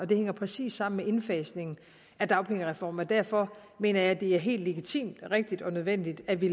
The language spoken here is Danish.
det hænger præcis sammen med indfasningen af dagpengereformen og derfor mener jeg det er helt legitimt rigtigt og nødvendigt at vi